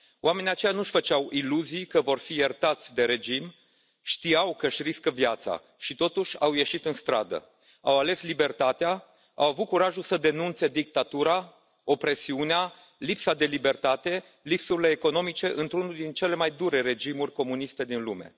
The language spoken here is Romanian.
Oamenii aceia nu își făceau iluzii că vor fi iertați de regim, știau că își riscă viața, și totuși au ieșit în stradă, au ales libertatea, au avut curajul să denunțe dictatura, opresiunea, lipsa de libertate, lipsurile economice, într unul din cele mai dure regimuri comuniste din lume.